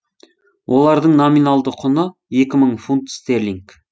олардың номиналды құны екі мың фунт стерлинг